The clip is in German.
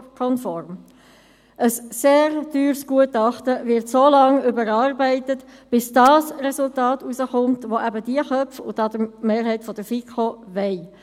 Ein sehr teures Gutachten wird so lange überarbeitet, bis das Resultat herauskommt, das ebendiese Köpfe – und die Mehrheit der FiKo – wollen.